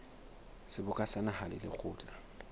seboka sa naha le lekgotla